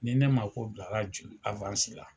Ni ne mago jɔra. Juru afansi la